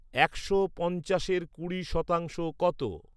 একশ পঞ্চাশের কুড়ি শতাংশ কত?